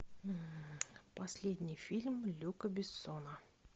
последний фильм люка бессона